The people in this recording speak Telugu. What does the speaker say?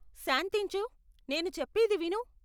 శాంతించు, నేను చెప్పేది విను.